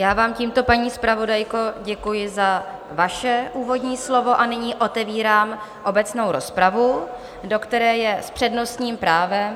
Já vám tímto, paní zpravodajko, děkuji za vaše úvodní slovo a nyní otevírám obecnou rozpravu, do které je s přednostním právem...